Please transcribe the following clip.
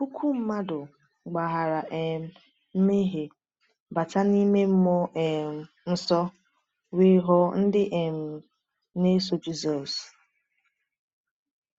Puku mmadụ gbaghara um mmehie, bata n’ime mmụọ um nsọ, wee ghọọ ndị um na-eso Jisọs.